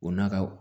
O nakɔ